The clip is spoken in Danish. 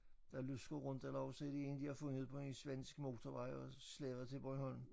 Der lusker rundt eller også er det én de har fundet på en svensk motorvej og slæbt til Bornholm